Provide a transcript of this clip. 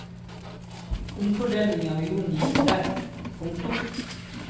Omfordelingen av jorden gikk tregt. punktum